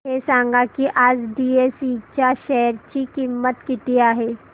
हे सांगा की आज बीएसई च्या शेअर ची किंमत किती आहे